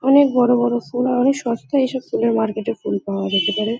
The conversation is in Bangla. অনেক বড়ো বড়ো ফুল আর অনেক সস্তায় এসব ফুলের মার্কেট -এ ফুল পাওয়া যেতে পারে।